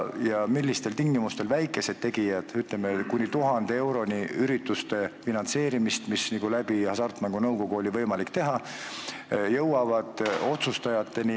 Ja millistel tingimustel jõuavad otsustajateni väikesed tegijad, kes ootavad kuni 1000 eurot maksvate ürituste finantseerimist, mida on olnud võimalik teha Hasartmängumaksu Nõukogu kaudu?